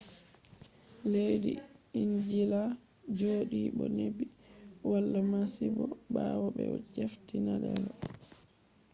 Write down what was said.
leddi ingila joɗi bo neɓi wala masibo ɓawo ɓe jafti danelo